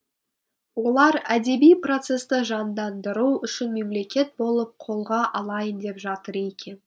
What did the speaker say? олар әдеби процесті жандандыру үшін мемлекет болып қолға алайын деп жатыр екен